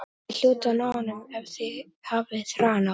Þið hljótið að ná honum ef þið hafið hraðan á.